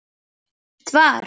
Frítt far.